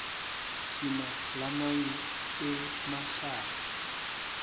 sinalamanye emahlaya